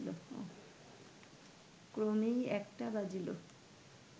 ক্রমে একটা বাজিল